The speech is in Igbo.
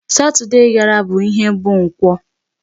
Saturday gara bụ ihe bụ Nkwọ.